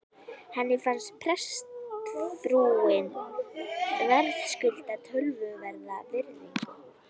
Henni fannst prestsfrúin verðskulda töluverða virðingu.